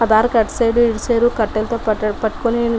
ఆ దారి కి అటు సైడ్ ఇటు సైడ్ కట్టెలు తో పట్టుకుని --